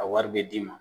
A wari bɛ d'i ma